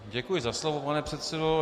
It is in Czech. Děkuji za slovo, pane předsedo.